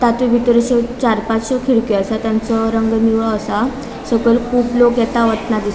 ताचे बितर चार पाँच खीड़क्यो आसात तांचो रंग निळो असा सकयल कुब लोक येता वयतना दिस --